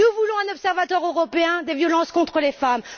Nous voulons un observateur européen des violences contre les femmes.